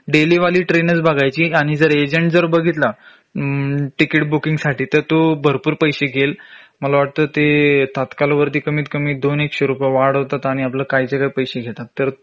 daily वाली train च बघायची आणि जर एजन्ट जर बघितला ह्म्म तिकीट बुकिंग साठी तर तो भरपूर पैशे घेईल मला वाटत ते तात्काल वरती कमीतकमी दोन एकशे रुपये वाढवतात आणि आपलं कायच्याकाय पैशे घेतात तर